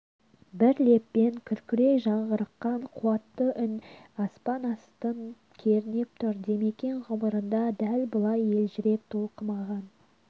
бір леппен күркірей жаңғырыққан қуатты үн аспан астын кернеп тұр димекең ғұмырында дәл бұлай елжіреп толқымаған